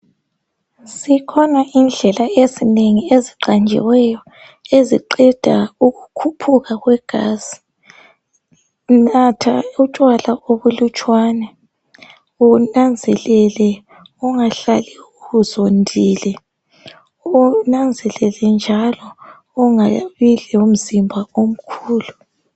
Zikhona indlela ezinengi eziqanjiweyo eziqeda ukukhuphuka kwegazi natha utshwala obulutshwana kumbe unanzelele ungahlali uzondile unanzelele njalo ungabi lomzimba omkhulu.